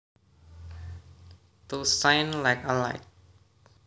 To shine like a light